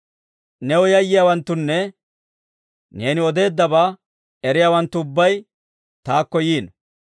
New yayyiyaawanttunne, neeni odeeddabaa eriyaawanttu ubbay, taakko yiino.